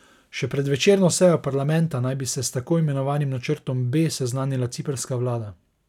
Še pred večerno sejo parlamenta naj bi se s tako imenovanim načrtom B seznanila ciprska vlada.